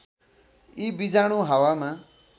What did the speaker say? यी बीजाणु हावामा